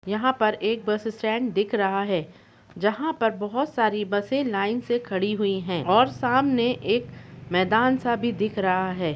बस टर्मिनल पर बहुत सारी बसें यात्रियों की प्रतीक्षा कर रही है।